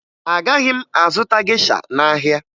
Agaghị m azụta gesha n'ahịa